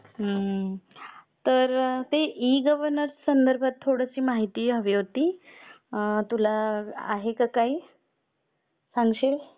हम्म तर ते ई गव्हर्नन्स संदर्भात थोडीशी माहिती हवी होती तुला आहे का काही? सांगशील?